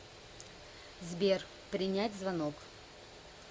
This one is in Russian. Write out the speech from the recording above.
сбер принять звонок